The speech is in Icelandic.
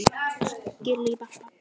Vinur minn!